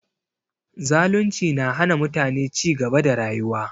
Zalunci na hana mutane cigaba da rayuwa